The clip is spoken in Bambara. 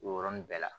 O yɔrɔnin bɛɛ la